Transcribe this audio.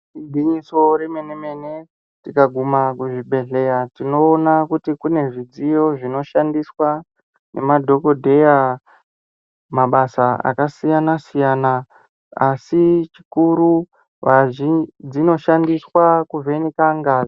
Igwinyiso remenemene tikaguma kuzvibhedhlera tinoona kuti kune zvidziyo zvinoshandiswa nemadhogodheya mabasa akasiyana-siyana, asi chikuru dzinoshandiswa kuvheneka ngazi.